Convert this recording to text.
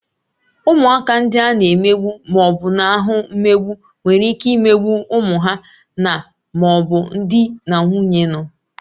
Ụmụaka ndị a na-emegbu ma ọ bụ na-ahụ mmegbu nwere ike imegbu ụmụ ha na/ma ọ bụ di na nwunye nọ